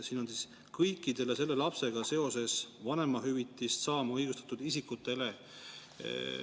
Siin on "kõikidele selle lapsega seoses vanemahüvitist saama õigustatud isikutele".